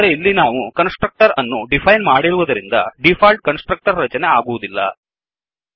ಆದರೆ ಇಲ್ಲಿ ನಾವು ಕನ್ಸ್ ಟ್ರಕ್ಟರ್ ಅನ್ನು ಡಿಫೈನ್ ಮಾಡಿರುವುದರಿಂದ ಡಿಫಾಲ್ಟ್ ಕನ್ಸ್ ಟ್ರಕ್ಟರ್ ರಚನೆ ಆಗುವುದಿಲ್ಲ